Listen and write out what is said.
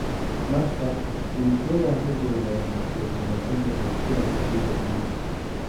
(Marca) De Gea ma joogaa mise wuu maqan yahay kulanka Liverpool?